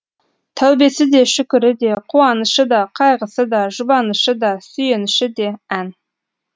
тәубесі де шүкірі де қуанышы да қайғысы да жұбанышы да сүйеніші де ән